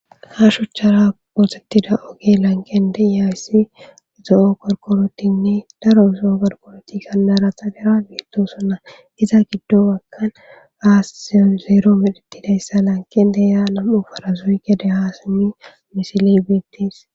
ha shuchchara prozektida oge lankende iyayssi zo7o korkorotinne daro zoo garkoroti kannara xalera biitto sonna iza giddo wakkan aasisiyo zeero midhitidayssa lanken deya nam7u farazoygede haasami misili beettis